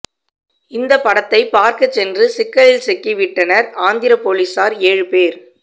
இந்த படத்தை பார்க்க சென்று சிக்கலில் சிக்கி விட்டனர் ஆந்திர போலீசார் ஏழு பேர்